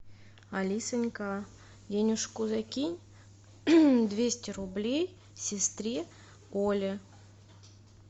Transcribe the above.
алисонька денежку закинь двести рублей сестре оле